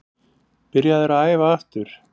Byrjaður að æfa aftur.